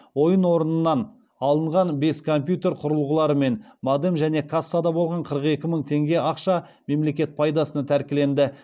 ойын орнынан алынған бес компьютер құрылғыларымен модем және кассада болған қырық екі мың теңге ақша мемлекет пайдасына тәркіленді